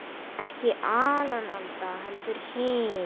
Ekki Alan Alda, heldur hinn